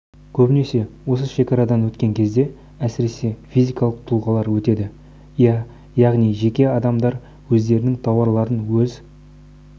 көбінесе осы шекарадан өткен кезде әсіресе физикалық тұлғалар өтеді иә яғни жеке адамдар өздерінің тауарларын өз